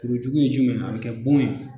Kuru jugu ye jumɛn ye , a bi kɛ bon ye.